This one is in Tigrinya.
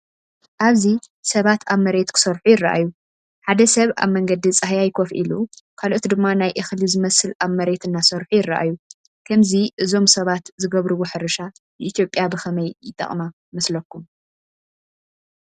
ኣብዚ ሰባት ኣብቲ መሬት ክሰርሑ ይረኣዩ። ሓደ ሰብ ኣብ መንገዲ ጻህያይ ኮፍ ኢሉ፡ ካልኦት ድማ ናይ እኽሊ ዝመስል ኣብ መሬት እናሰርሑ ይረኣዩ። ከምዚ እዞም ሰባት ዝገብርዎ ሕርሻ ንኢትዮጵያ ብኸመይ ይጠቅማ ይመስለኩም?